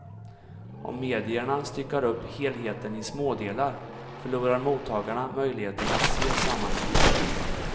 Om medierna styckar upp helheten i smådelar förlorar mottagarna möjligheten att se sammanhangen.